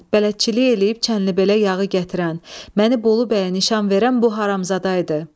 Bələdçilik eləyib Çənlibelə yağı gətirən, məni Bolu bəyə nişan verən bu haramzada idi.